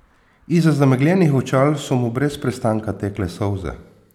Izza zamegljenih očal so mu brez prestanka tekle solze.